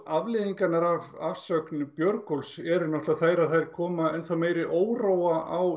afleiðingarnar af afsögn Björgólfs eru þær að þær koma enn meiri óróa á